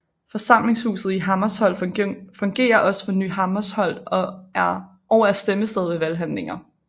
Forsamlingshuset i Hammersholt fungerer også for Ny Hammersholt og er stemmested ved valghandlinger